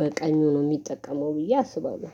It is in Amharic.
በቀኙ ነው የሚጠቀመው ብዬ አስባለሁ